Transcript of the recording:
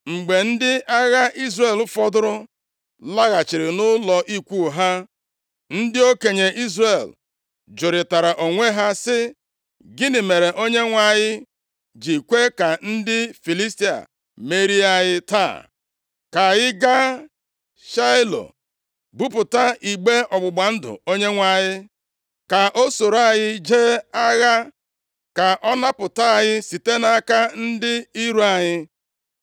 Mgbe ndị agha Izrel fọdụrụ laghachiri nʼụlọ ikwu ha, ndị okenye Izrel jụrịtara onwe ha sị, “Gịnị mere Onyenwe anyị ji kwe ka ndị Filistia merie anyị taa. Ka anyị gaa Shaịlo buputa igbe ọgbụgba ndụ Onyenwe anyị, ka o soro anyị jee agha, ka ọ napụta anyị site nʼaka ndị iro anyị.”